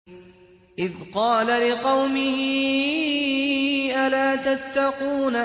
إِذْ قَالَ لِقَوْمِهِ أَلَا تَتَّقُونَ